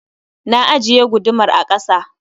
Na ajiye gudumar a ƙasa